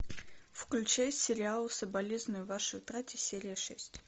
включай сериал соболезную вашей утрате серия шесть